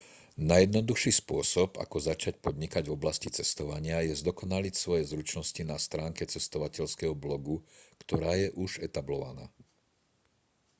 najjednoduchší spôsob ako začať podnikať v oblasti cestovania je zdokonaliť svoje zručnosti na stránke cestovateľského blogu ktorá je už etablovaná